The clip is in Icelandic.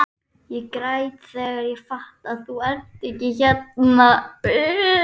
Ég græt þegar ég fatta að þú ert ekki hérna.